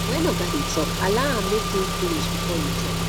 when oga dey talk allow am make im finish before you talk